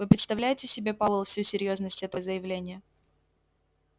вы представляете себе пауэлл всю серьёзность этого заявления